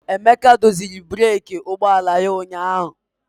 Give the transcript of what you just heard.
Emeka doziri breeki ụgbọ ala ya ụnyahụ.